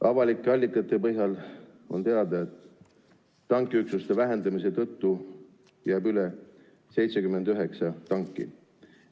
Avalike allikate põhjal on teada, et tankiüksuste vähendamise tõttu jääb üle 79 tanki.